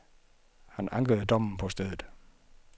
Han ankede dommen på stedet.